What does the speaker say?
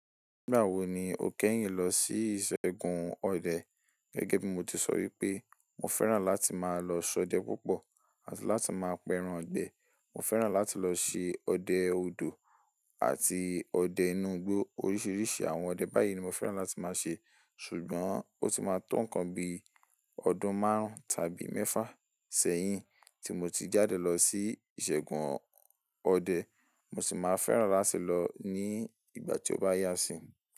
Nígbà wo ni o kẹ́yìn lọ sí ìṣègùn ọdẹ? Gẹ́gẹ́ bí mo ti sọ wípé, mo fẹ́ràn láti máa lọ ṣọdẹ púpọ̀ àti láti máa pẹran ìgbẹ. Mo fẹ́ràn láti lọ ṣe ọdẹ odò àti ọdẹ inú igbó. Oríṣiríṣi àwọn ọdẹ báyìí ni mo fẹ́ràn láti máa ṣe. Ṣùgbọ́n, ó ti máa tó nǹkan bi ọdún márùn-ún tàbí mẹ́fà sẹ́yìn tí mo ti jáde lọ sí ìṣègùn ọdẹ. Mo sì máa fẹ́ràn láti lọ ní ìgbà tí ó bá yá sí.